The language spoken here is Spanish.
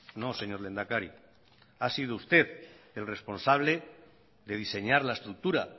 no señor lehendakari ha sido usted el responsable de diseñar la estructura